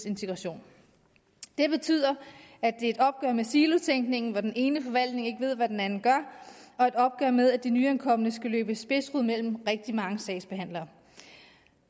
integration det betyder at det er et opgør med silotænkningen hvor den ene forvaltning ikke ved hvad den anden gør og et opgør med at de nyankomne skal løbe spidsrod mellem rigtig mange sagsbehandlere